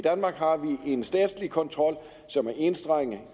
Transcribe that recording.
en statslig kontrol som er enstrenget